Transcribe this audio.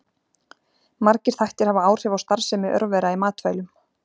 Margir þættir hafa áhrif á starfsemi örvera í matvælum.